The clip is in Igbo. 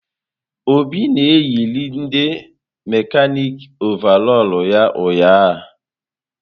Obi na-eyịride mekanịkị ọvarọọr ya ụnyahụ.